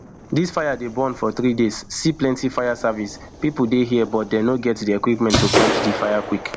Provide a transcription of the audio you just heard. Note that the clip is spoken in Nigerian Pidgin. dis fire dey burn for three days see plenti fire service pipo for here but dey no get di equipment to quench dis fire quick